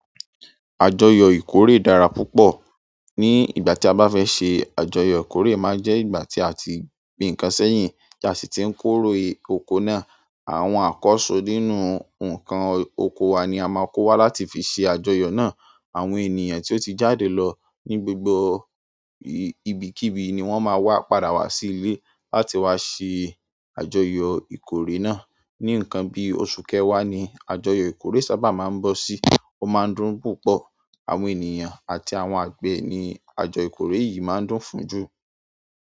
Àjọyọ̀ ìkórè dára púpọ̀. Ní ìgbà tí a bá fẹ́ ṣe àjọyọ̀ ìkórè, máa jẹ́ ìgbà tí a ti gbin ǹkan sẹ́yìn ti asi ti ń kórè oko náà. Àwọn àkọ́so nínú ǹkan oko wa ni a máa kó wá láti fi ṣe àjọyọ̀ náà. Àwọn ènìyàn tó ti jáde lọ ní gbogbo ibikíbi ni wọ́n máa wá padà wá sí ìle láti wá ṣe àjọyọ̀ ìkórè náà. Ní ǹkan bí oṣù kẹwà ni àjọyọ̀ ìkórè sábà máa ń bọ́ sí. Ó máa ń dùn púpọ̀. Àwọn ènìyàn àti àwọn àgbe ni àjọyọ̀ ìkórè yìí máa ń dùn fún jù.